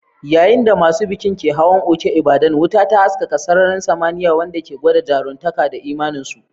Yayin da masu bikin ke hawan Oke Ibadan, wuta ta haskaka sararin samaniya, wanda ke gwada jaruntaka da imaninsu.